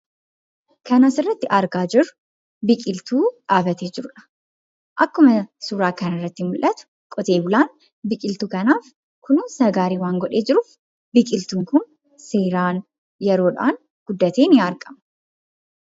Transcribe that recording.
Kan asirratti argaa jirru biqiltuu dhaabbatee jiruudha. Akkuma suuraa kana irratti mul'atu, qote-bulaan biqiltuu kanaaf kunuunsa barbaachisaa godhee waan jiruuf, biqiltuun kun seeraan, yeroodhaan guddatee ni argama.